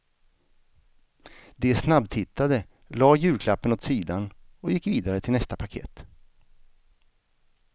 De snabbtittade, la julklappen åt sidan och gick vidare till nästa paket.